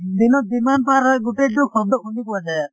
দিনত যিমান পাৰ হয় গোটেই টো শব্দ শুনি পোৱা যায় আৰু